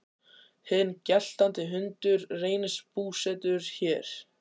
Hinn geltandi hundur reynist búsettur hér.